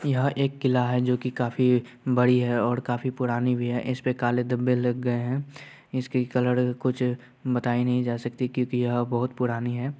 यह एक किला है जोकि काफी बड़ी है और काफी पुरानी भी है| इसपे काले धब्बे लग गए हैं| इसकी कलर कुछ बताई नहीं जा सकती क्योकि यह बहुत पुरानी है।